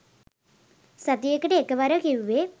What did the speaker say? සතියකට එකවරයි කිවුවෙ